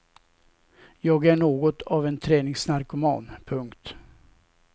Jag är något av en träningsnarkoman. punkt